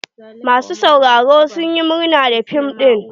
Masu sauraro sun yi murna da fim ɗin.